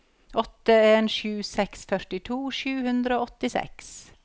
åtte en sju seks førtito sju hundre og åttisju